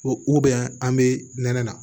u bɛn an be nɛnɛ na